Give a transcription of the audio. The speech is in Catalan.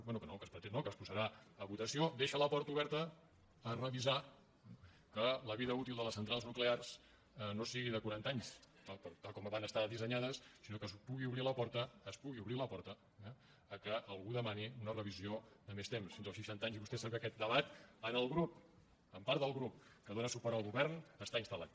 bé que es pretén no que es posarà a votació deixa la porta oberta a revisar que la vida útil de les centrals nuclears no sigui de quaranta anys tal com van estar dissenyades sinó que es pugui obrir la porta es pugui obrir la porta que algú demani una revisió de més temps fins als seixanta anys i vostè sap que aquest debat en el grup en part del grup que dóna suport al govern està instal·lat